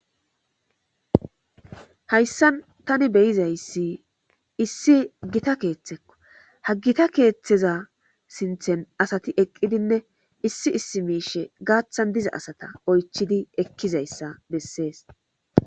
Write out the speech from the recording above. hayssan tani beyizayssi issi gita keeththekko haggita keeththeza sinthen asati eqqidinne issi issi miishe gaaththan diza asata oychidi ekkizayssa bessees